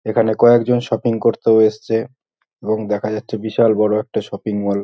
এখানে কয়েকজন শপিং করতেও এসেছে এবং দেখা যাচ্ছে বিশাল বড় একটা শপিং মল ।